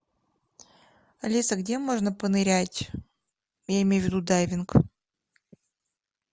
алиса где можно понырять я имею ввиду дайвинг